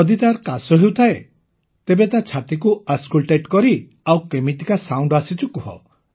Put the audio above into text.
ଯଦି ତାର କାଶ ହେଉଥାଏ ତେବେ ତା ଛାତିକୁ ଅସ୍କଲଟେଟ୍ କରି ଆଉ କେମିତିକା ସାଉଣ୍ଡ ଆସୁଛି କୁହ